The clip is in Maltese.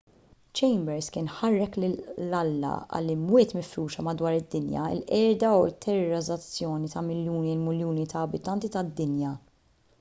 chambers kien ħarrek lil alla għall-"imwiet mifruxa madwar id-dinja il-qerda u t-terrorizzazzjoni ta’ miljuni u miljuni ta’ abitanti tad-dinja.